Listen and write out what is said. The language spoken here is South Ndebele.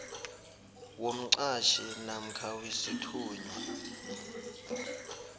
womqhatjhi namkha wesithunywa